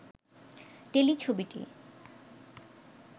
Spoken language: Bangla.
টেলিছবিটি